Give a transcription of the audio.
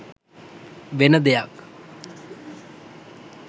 වෙන දෙයක්.